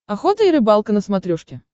охота и рыбалка на смотрешке